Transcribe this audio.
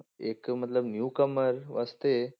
ਇੱਕ ਮਤਲਬ newcomer ਵਾਸਤੇ